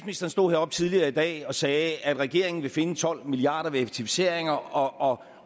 stod heroppe tidligere i dag og sagde at regeringen vil finde tolv milliard effektiviseringer og